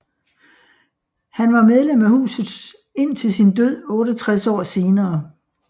Han var medlem af huset indtil sin død 68 år senere